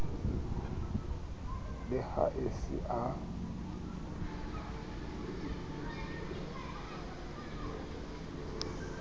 le ha e se a